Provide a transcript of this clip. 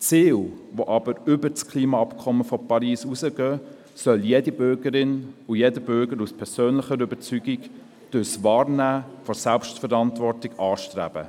Ziele, die jedoch über das Klimaabkommen von Paris hinausgehen, soll jede Bürgerin und jeder Bürger aus persönlicher Überzeugung durch die Wahrnehmung der Selbstverantwortung anstreben.